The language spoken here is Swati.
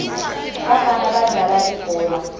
bafana badlala libhola